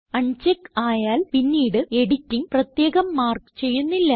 അൺ check ആയാൽ പിന്നിട് editing പ്രത്യേകം മാർക്ക് ചെയ്യുന്നില്ല